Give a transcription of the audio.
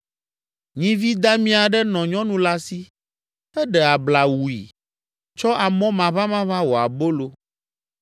Nyivi dami aɖe nɔ nyɔnu la si, eɖe abla wui, tsɔ amɔ maʋamaʋã wɔ abolo